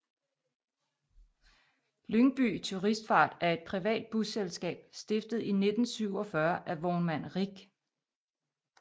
Lyngby Turistfart er et privat busselskab stiftet i 1947 af vognmand Rich